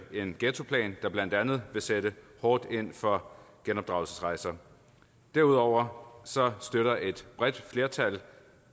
en ghettoplan der blandt andet vil sætte hårdt ind over for genopdragelsesrejser derudover støtter et bredt flertal